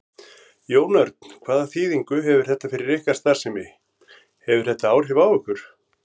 Jón Örn: Hvaða þýðingu hefur þetta fyrir ykkar starfsemi, hefur þetta áhrif á ykkur?